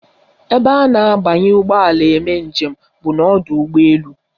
Ebe a na-abanye ụgbọala eme njem bụ n'ọdọụgbọelu